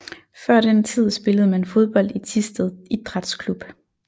Før den tid spillede man fodbold i Thisted Idræts Klub